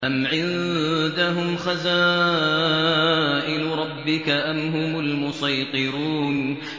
أَمْ عِندَهُمْ خَزَائِنُ رَبِّكَ أَمْ هُمُ الْمُصَيْطِرُونَ